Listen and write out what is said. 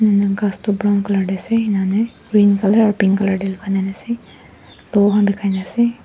umm ghas toh brown color te ase inika hoi na green color aro pink color de lagai kena ase doll khan bikai na ase.